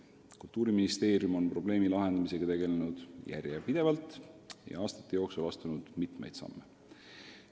Kultuuriministeerium on probleemi lahendamisega tegelenud järjepidevalt ja aastate jooksul astunud mitmeid samme.